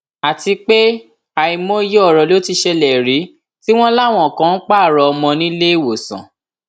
àti pé àìmọye ọrọ ló ti ṣẹlẹ rí tí wọn láwọn kan ń pààrọ ọmọ nílé ìwòsàn